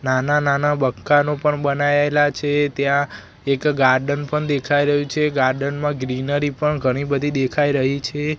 નાના નાના બકાનો પણ બનાયેલા છે ત્યાં એક ગાર્ડન પણ દેખાય રહ્યું છે ગાર્ડન માં ગ્રીનરી પણ ઘણી બધી દેખાય રહી છે.